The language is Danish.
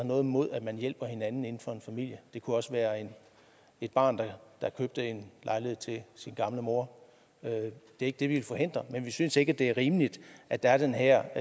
noget imod at man hjælper hinanden inden for familien det kunne også være et barn der købte en lejlighed til sin gamle mor det ikke det vi vil forhindre men vi synes ikke det er rimeligt at der er den her